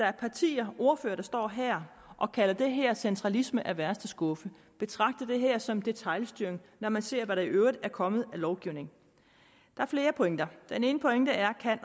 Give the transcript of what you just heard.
er partier ordførere der står her og kalder det her centralisme af værste skuffe betragter det her som detailstyring når man ser hvad der i øvrigt er kommet af lovgivning der er flere pointer den ene pointe er kan